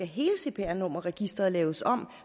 hele cpr nummerregisteret skulle laves om